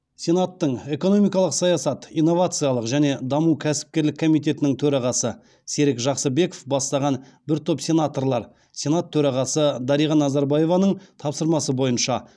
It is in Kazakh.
сенаттың экономикалық саясат инновациялық және даму кәсіпкерлік комитетінің төрағасы серік жақсыбеков бастаған бір топ сенаторлар сенат төрағасы дариға назарбаеваның тапсырмасы бойынша